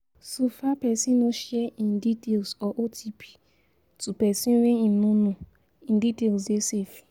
So far person no share im details or OTP to person wey im no know, im details dey safe